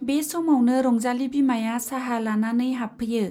बे समावनो रंजाली बिमाया चाहा लानानै हाबफैयो।